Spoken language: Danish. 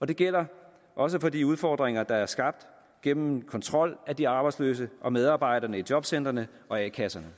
det gælder også for de udfordringer der er skabt gennem kontrol af de arbejdsløse og medarbejderne i jobcentrene og a kasserne